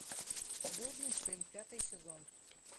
блудный сын пятый сезон